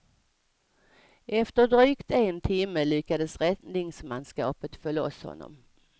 Efter drygt en timme lyckades räddningsmanskapet få loss honom.